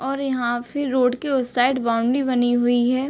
और यहाँ फिर रोड के उस साइड बाउंड्री बनी हुई है।